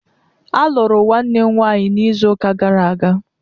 A lụrụ Nwanne m nwanyi n'ịzu ụka gara aga